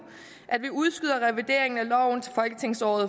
at vi udskyder revideringen af loven til folketingsåret